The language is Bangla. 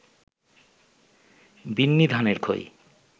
বিন্নিধানের খই